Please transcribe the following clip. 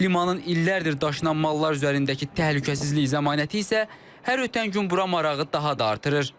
Limanın illərdir daşınan mallar üzərindəki təhlükəsizlik zəmanəti isə hər ötən gün bura marağı daha da artırır.